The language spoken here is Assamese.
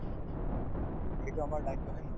হয় to সেইটো আমাৰ দায়িত্ব হয় নে নহয়